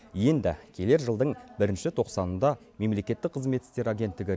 енді келер жылдың бірінші тоқсанында мемлекеттік қызмет істері агенттігі